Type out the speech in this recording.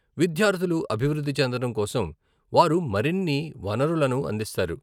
విద్యార్థులు అభివృద్ధి చెందడం కోసం వారు మరిన్ని వనరులను అందిస్తారు.